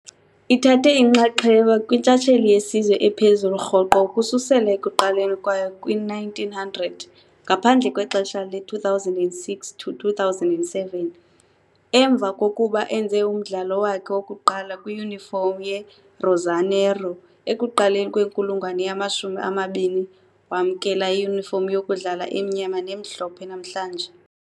Ithathe inxaxheba kwintshatsheli yesizwe ephezulu rhoqo ukususela ekuqaleni kwayo kwi -1900, ngaphandle kwexesha le-2006-2007. Emva kokuba enze umdlalo wakhe wokuqala kwiyunifomu ye-rosanero, ekuqaleni kwenkulungwane yamashumi amabini wamkela iyunifomu yokudlala emnyama nemhlophe namhlanje.